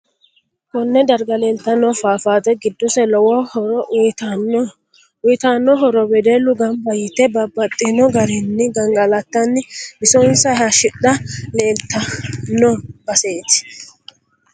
Konne darga leeltanno fafaate giddose lowo horo uyiitanno uyiitanno horo wedellu ganba yite babbaxinno garinni gangalatanni bisonsa hayiishidha leeltano baseeti